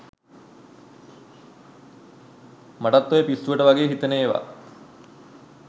මටත් ඔය පිස්සුවට වගෙ හිතෙන ඒව